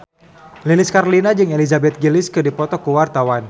Lilis Karlina jeung Elizabeth Gillies keur dipoto ku wartawan